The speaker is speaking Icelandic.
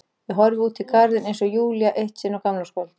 Ég horfi út í garðinn eins og Júlía eitt sinn á gamlárskvöld.